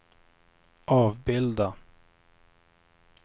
avbilda